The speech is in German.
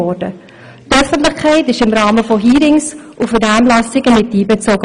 Die Öffentlichkeit wurde im Rahmen von Hearings und Vernehmlassungen mit einbezogen.